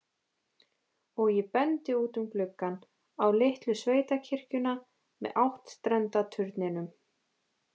Og ég bendi út um gluggann, á litlu sveitakirkjuna með áttstrenda turninum.